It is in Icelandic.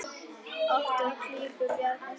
Oft úr klípu bjargar sér.